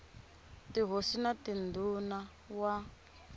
tihosi na tindhuna r wa